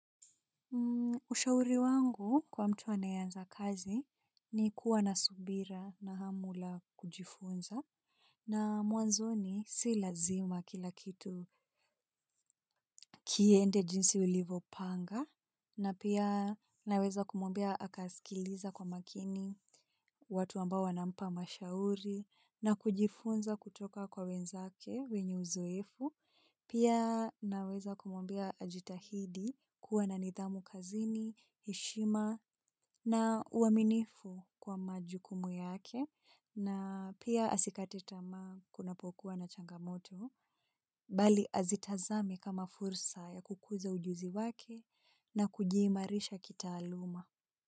Ushauri wangu kwa mtu anayeanza kazi ni kuwa na subira na hamu ya kujifunza. Na mwanzoni si lazima kila kitu kiende jinsi ulivopanga. Na pia naweza kumwambia akaskiliza kwa makini watu ambao wanampa mashauri na kujifunza kutoka kwa wenzake wenye uzoefu. Pia naweza kumwambia ajitahidi kuwa na nidhamu kazini, heshima na uaminifu kwa majukumu yake na pia asikate tamaa kunapokuwa na changamoto bali azitazame kama fursa ya kukuza ujuzi wake na kujimarisha kitaaluma.